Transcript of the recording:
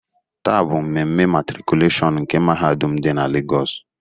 Tàà bụ mmemme matrikulashionu nke mahadum dị na Legos.